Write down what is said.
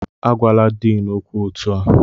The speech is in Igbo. Agwala Din okwu otu a!